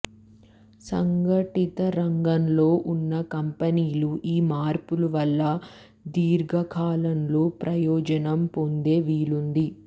సంఘటిత రంగంలో ఉన్న కంపెనీలు ఈ మార్పుల వల్ల దీర్ఘకాలంలో ప్రయోజనం పొందే వీలుంది